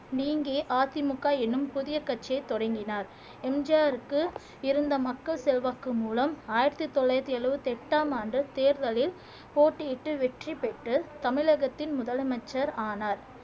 நீங்கி அதிமுக எனும் புதிய கட்சியை தொடங்கினார் எம் ஜி ஆர்க்கு இருந்த மக்கள் செல்வாக்கு மூலம் ஆயிரத்தி தொள்ளாயிரத்தி எழுபத்தி எட்டாம் ஆண்டு தேர்தலில் போட்டியிட்டு வெற்றி பெற்று தமிழகத்தின் முதலமைச்சர் ஆனார்